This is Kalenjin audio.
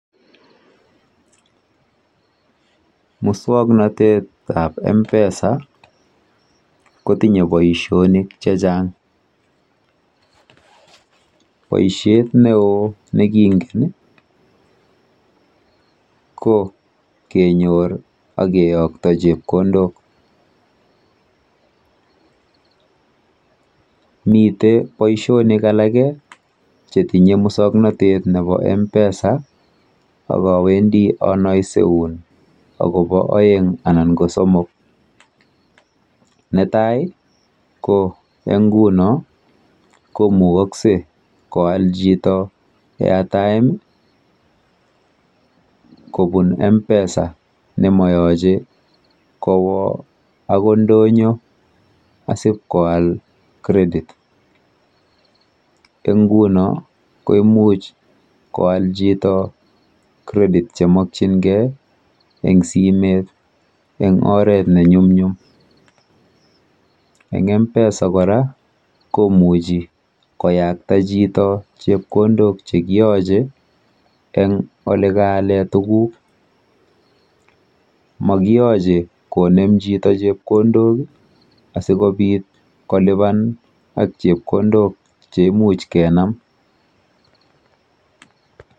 Muswoknotetap M-pesa kotinye boishonik chechang. Boishet neo nekingen ko kenyor ak keyokto chepkondok. Mite boishonik aleke chetinye muswoknotet nepo M-pesa, akawendi anoiseun akopo oeng anan ko somok. Netai, eng nguno komukoksei koal chito airtime kobun M-pesa nemayoche kowo ako ndonyo asipkoal credit. Eng nguno ko imuch koal chito credit chemokchingei eng simet eng oret nenyumnyum. Eng M-pesa kora, komuchi koyakta chito chepkondok chekiyoche eng olekaale tuguk. Mokiyoche konem chito chepkondok asikobit kolipan ak chepkondok cheimuch kenam.